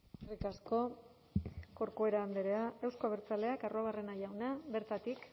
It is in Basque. eskerrik asko corcuera andrea euzko abertzaleak arruabarrena jauna bertatik